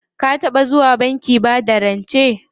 Ka taɓa zuwa bankin bada rance?